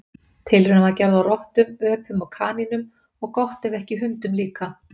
Tilraun var gerð á rottum, öpum og kanínum og gott ef ekki hundum líka.